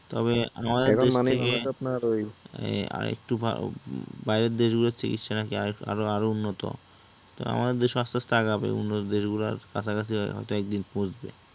তবে আমাদের দেশ থেকে আর একটু, বাইরের দেশগুলার চিকিৎসা নাকি আরও আরও উন্নত তো আমাদের দেশও আস্তে আস্তে আগাবে, উন্নত দেশগুলার কাছাকাছি হয়তো একদিন পৌছবে